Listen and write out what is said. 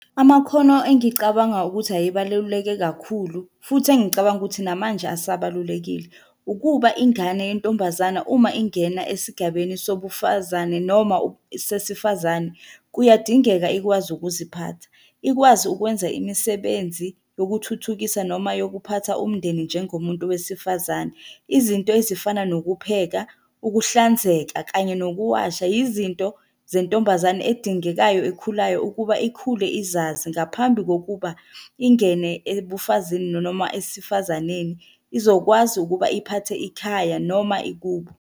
Amakhono engicabanga ukuthi ayebaluleke kakhulu, futhi engicabanga ukuthi namanje asabalulekile, ukuba ingane yentombazana uma ingena esigabeni sobufazane noma sesifazane, kuyadingeka ikwazi ukuziphatha. Ikwazi ukwenza imisebenzi yokuthuthukisa noma yokuphatha umndeni njengomuntu wesifazane. Izinto ezifana nokupheka, ukuhlanzeka, kanye nokuwasha yizinto zentombazane edingekayo ekhulayo ukuba ikhule izazi ngaphambi kokuba ingene ebufazini nanoma esifazaneni. Izokwazi ukuba iphathe ikhaya noma ikubo.